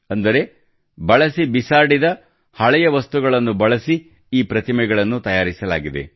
ಅಂದರೆ ಬಳಸಿ ಬಿಸಾಡಿದ ಹಳೆಯ ವಸ್ತುಗಳನ್ನು ಬಳಸಿ ಈ ಪ್ರತಿಮೆಗಳನ್ನು ತಯಾರಿಸಲಾಗಿದೆ